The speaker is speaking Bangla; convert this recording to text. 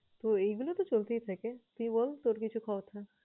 তো এইগুলা তো চলতেই থাকে। তুই বল তোর কিছু কথা?